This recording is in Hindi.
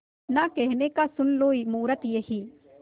ना कहने का सुन लो मुहूर्त यही